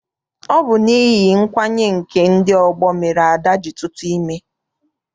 Ọ bụ n'ihi nkwanye nke ndị ọgbọ mere Ada ji tuta ime.